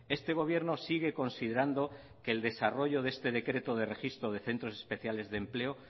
este gobierno sigue considerando que el desarrollo de este decreto de registro de centros especiales de empleo